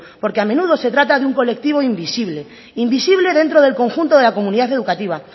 porque a menudo se trata de un colectivo invisible invisible dentro del conjunto de la comunidad educativa